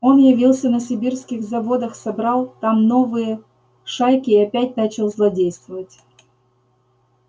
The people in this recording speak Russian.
он явился на сибирских заводах собрал там новые шайки и опять начал злодействовать